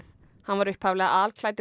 hann var upphaflega